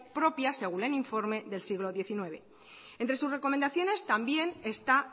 propia según el informe del siglo diecinueve entre sus recomendaciones también está